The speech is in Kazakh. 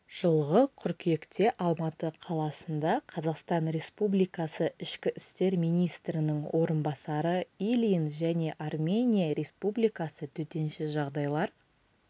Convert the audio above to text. жылғы қыркүйекте алматы қаласында қазақстан республикасы ішкі істер министрінің орынбасары ильин және армения республикасы төтенше жағдайлар